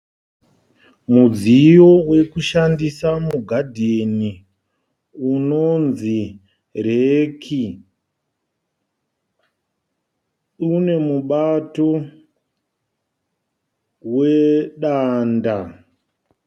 Mudziyo wekushandisa mugadheni unonzi reki. Une mubato wedanda.